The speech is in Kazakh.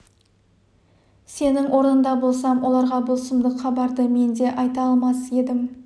сенің орныңда болсам оларға бұл сұмдық хабарды мен де айта алмас едім